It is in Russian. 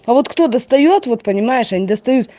а вот кто достаёт вот понимаешь они достают